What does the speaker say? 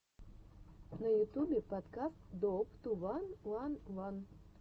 на ютубе подкаст доуп ту ван ван ван